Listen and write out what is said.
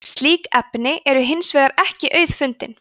slík efni eru hins vegar ekki auðfundin